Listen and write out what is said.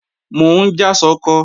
Mò ń já ṣọkọ